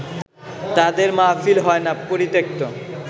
তাঁদের মাহফিল হয় না পরিত্যক্ত